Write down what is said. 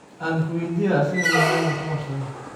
Ankuwediyex, asaka malay muukabsadhey?